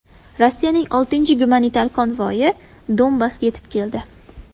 Rossiyaning oltinchi gumanitar konvoyi Donbassga yetib keldi.